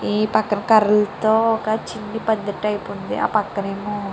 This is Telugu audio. ఈ పక్క కరల్లతో చిన్న పందిరి టైపు అయితే ఉంది. ఈ పక్కనెమో --